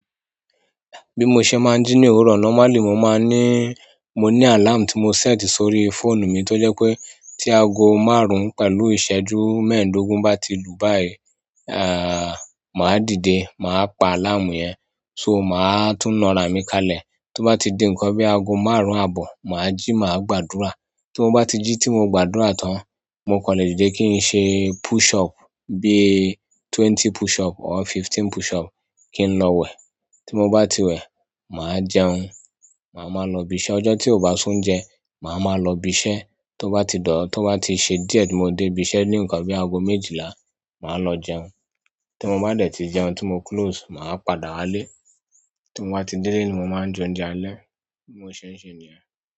Bí mo ṣe máa ń jí ní òwúrọ̀, normally mo máa ń ní, mo ní alarm tí mo set sórí fóònù mi tó jẹ́ pé tí aago márùn-ún pẹ̀lú ìṣẹ́jú mẹ́ẹ̀ẹ́dógún bá ti lù báyìí, màá dìde, màá pa alarm yẹn, so màá tún nà rá mi kalẹ̀. Tó bá ti dé nǹkan bí i aago márùn-ún àbọ̀, mà á jí, mà á gbàdúrà. Timó bá ti jí tí mo gbàdúrà tán, mo kan le dìde kí n ṣe push up bí i twenty push up or fifteen push up, kí n lọ wẹ̀. Timó bá ti wẹ̀, mà á jẹun. Mà á máa lọ ibi iṣẹ́. Ọjọ́ tí o bá si oúnjẹ, màa máa lọ ibi iṣẹ́. To ba ti se díẹ̀ ti mo de ibi iṣẹ́ ni nkan bi aago méjìlá, maa lo jẹun timo ba de ti jẹun, ti mo close, maa padà wale tí mo bá ti délé ni mo máa ń jẹ oúnjẹ alẹ́. Bimo ṣẹ̀ nṣẹ̀ níyẹn.